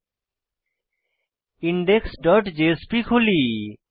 এখন index dot JSP খুলি